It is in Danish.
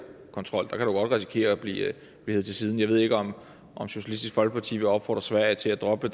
kontrol der kan risikere at blive hevet til side jeg ved ikke om socialistisk folkeparti vil opfordre sverige til at droppe